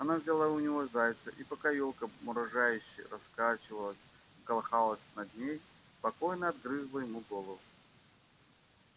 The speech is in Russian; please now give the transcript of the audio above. она взяла у него зайца и пока ёлка мрожающе раскачивалась и колыхалась над ней спокойно отгрызла ему голову